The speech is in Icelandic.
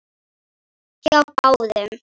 Hjá báðum.